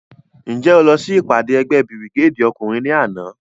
Njẹ o lọ si ipade ẹgbẹ birigedi ọkunrin ni ana?